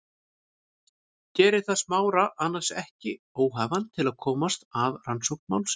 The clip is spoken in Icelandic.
Gerir það Smára annars ekki óhæfan til að koma að rannsókn málsins?